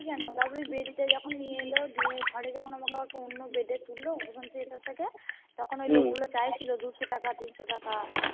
কোনো তারপরে bed টা যখন নিয়ে এলো দিয়ে ঘরে যখন আমাকে আবার অন্য Bed এ তুললো সেখান থেকে তখন ওই লোক গুলো চাইছিলো দুশো টাকা তিনশো টাকা